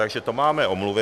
Takže to máme omluvy.